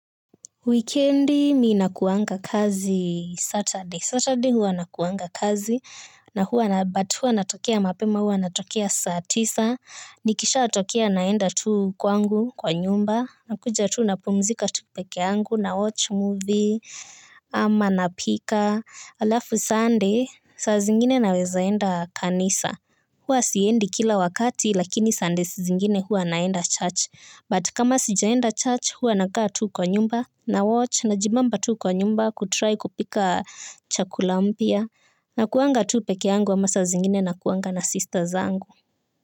Weekendi ninakuanga kazi Saturday. Saturday hua nakuanga kazi, but hua natokea mapema hua natokea saa tisa. Nikisha atokea naenda tu kwangu, kwa nyumba, na kuja tu napumzika tu pekeyangu, nawatch movie, ama napika. Alafu Sunday, saa zingine naweza enda kanisa. Huwa siendi kila wakati, lakini Sundays zingine huwa naenda church. But kama sijaenda church huwa nakaa tu kwa nyumba nawatch, najibamba tu kwa nyumba kutry kupika chakula mpya. Nakuanga tu peke yangu ama saa zingine nakuanga na sisters zangu.